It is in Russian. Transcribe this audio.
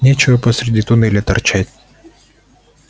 нечего посреди туннеля торчать